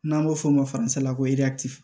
N'an b'o f'o ma la ko